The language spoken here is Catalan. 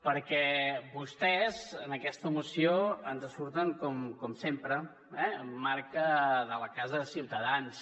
perquè vostès en aquesta moció ens surten com sempre amb marca de la casa de ciutadans